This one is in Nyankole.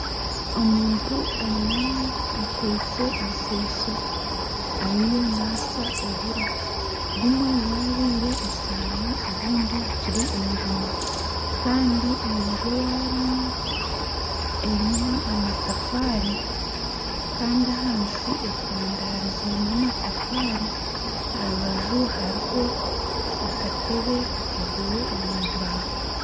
Omuntu ainami akwaitse ensaiso ariyo naasa oburo obumwe bwabaire esaano obundi bukiri enjuma enju eyi arimu erimu amatafaari Kandi ahansi etandarize n'amatafaari aha rubaju hariho akatebe kakozirwe omu mbaho